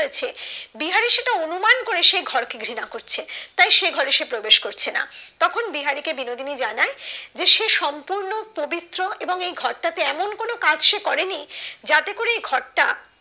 বিহারি সেটা অনুমান করে সে ঘর কে ঘৃণা করছে তাই সে ঘরে সে প্রবেশ করছে না তখন বিহারী কে বিনোদিনী জানায় যে সে সম্পূর্ণ পবিত্র এবং এই ঘরটাতে এমন কাজ সে করেনি যাতে এই ঘরটা